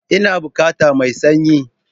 Ina bukata mai sanyi